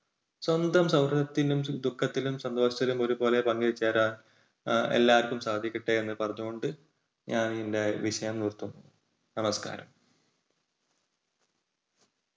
സ്വന്തം സൗഹൃദത്തിലും ദുഃഖത്തിലും സന്തോഷത്തിലും ഒരുപോലെ പങ്കുചേരാൻ എല്ലാവർക്കും സാധിക്കട്ടെ എന്ന് പറഞ്ഞുകൊണ്ട് ഞാൻ എൻറെ വിഷയം നിർത്തുന്നു. നമസ്കാരം!